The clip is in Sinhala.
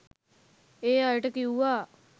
ඒ අයට කිව්වා